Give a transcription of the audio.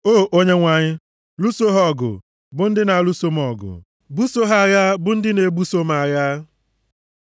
O Onyenwe anyị, lụso ha ọgụ bụ ndị na-alụso m ọgụ; buso ha agha bụ ndị na-ebuso m agha.